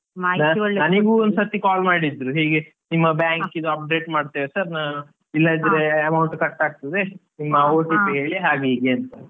ಒಂದ್ಸಲ call ಮಾಡಿದ್ರು ಹೀಗೆ ನಿಮ್ಮ ಬ್ಯಾಂಕಿದು update ಮಾಡ್ತೇವೆ sir ಇಲ್ಲದಿದ್ರೆ amount ಕಟ್ ಆಗ್ತದೆ ನಿಮ್ಮ OTP ಹೇಳಿ ಹಾಗೆ ಹೀಗೆ ಅಂತ.